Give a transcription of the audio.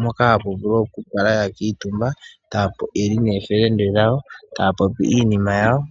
mpoka hapu vulu oku kala ya kuutumba yeli noofelende dhawo, taya popi iinima yawo.